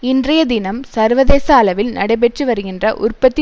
இன்றைய தினம் சர்வதேச அளவில் நடைபெற்றுவருகின்ற உற்பத்தி